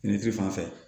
Finifin fan fɛ